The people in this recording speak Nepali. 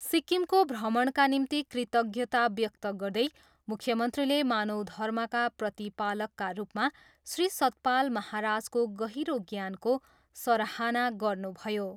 सिक्किमको भ्रमणका निम्ति कृतज्ञता व्यक्त गर्दै मुख्यमन्त्रीले मानव धर्मका प्रतिपालकका रूपमा श्री सतपाल महाराजको गहिरो ज्ञानको सराहना गर्नुभयो।